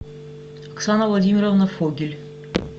оксана владимировна фогель